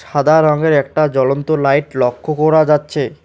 সাদা রঙের একটা জ্বলন্ত লাইট লক্ষ্য করা যাচ্ছে।